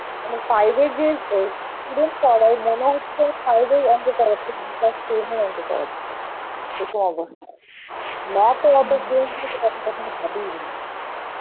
মানে five এ যে মনে হচ্ছে যেন five এর অংক করাচ্ছে, না class ten এর অংক করাচ্ছে, এরকম অবস্থা. mathএ এত আমি কখনো ভাবিনি.